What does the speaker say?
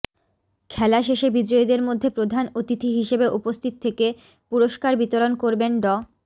খেলা শেষে বিজয়ীদের মধ্যে প্রধান অতিথি হিসেবে উপস্থিত থেকে পুরস্কার বিতরণ করবেন ড